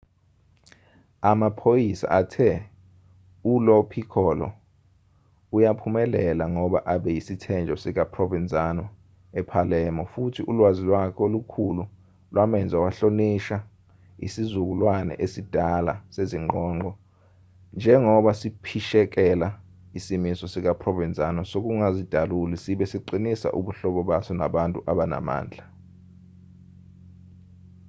amaphoyisa athe ulo piccolo uyaphumelela ngoba abe yisithenjwa sikaprovenzano epalermo futhi ulwazi lwakhe olukhulu lwamenza wahlonishwa isizukulwane esidala sezingqongqo njengoba siphishekela isimiso sikaprovenzano sokungazidaluli sibe siqinisa ubuhlobo baso nabantu abanamandla